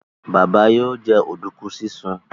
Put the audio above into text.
Baba yóò jẹ oduku sisùn.